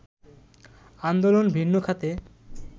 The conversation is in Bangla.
আন্দোলন ভিন্ন খাতে